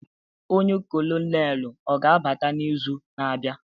Ọnye kolonelu oga-abata n'izu na-abịa?